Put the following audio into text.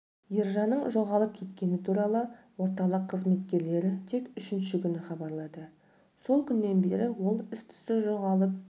ержанның жоғалып кеткені туралы орталық қызметкерлері тек үшінші күні хабарлады сол күннен бері ол іс-түссіз жоғалып